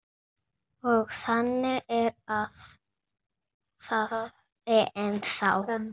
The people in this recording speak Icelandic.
Og þannig er það ennþá.